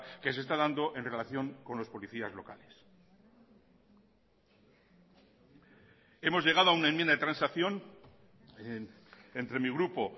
que se está dando en relación con los policías locales hemos llegado a una enmienda de transacción entre mi grupo